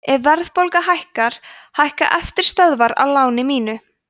ef verðbólga hækkar hækka eftirstöðvar á láninu mínu